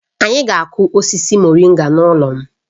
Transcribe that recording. Anyị ga akụ osisi moringa n'ụlọ m